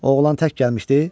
Oğlan tək gəlmişdi?